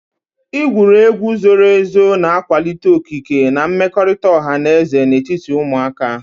Igwuru egwu zoro ezo na-akwalite okike na mmekọrịta ọha na eze n'etiti ụmụaka.